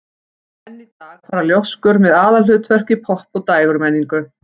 Enn í dag fara ljóskur með aðalhlutverk í popp- og dægurmenningu.